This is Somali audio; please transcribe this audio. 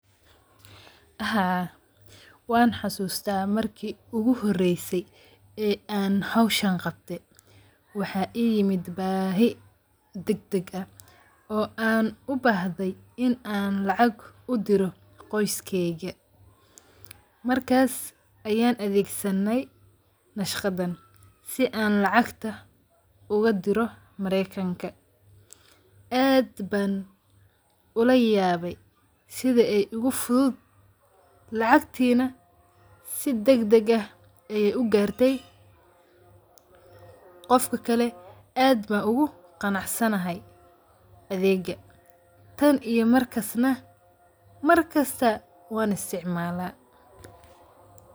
Haa wan xasuusta markii ugu horeyse ee an howshan qabte ,waxa I yimid baahi degdeg ah oo an ubahday in an lacag udiro qoskeykaga markas ayan adeegsanay baqshadan si an lacag oga diro marekanka, aad ban ulw yabay sida ay igu fudud lacagtii na si degdeh ah ay ugartay qofka kale, aad ayn ogu qanacsanahay adeeggan, tan iyo markas na markasta wan isticmaala